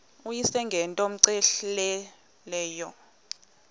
uyise ngento cmehleleyo